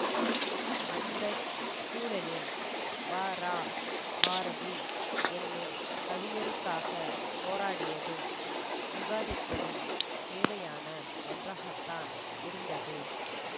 அந்த சூழலில் வரா பாரதி என்னும் கவிஞருக்காகப் போராடியதும் விவாதித்ததும் தேவையான ஒன்றாகத்தான் இருந்தது